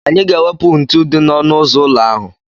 Anyị ga-ewepụ ntu ndị dị n'ọnụ ụzọ ụlọ ahụ.